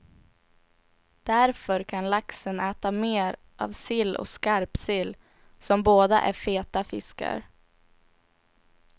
Därför kan laxen äta mer av sill och skarpsill, som båda är feta fiskar.